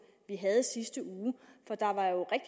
vi havde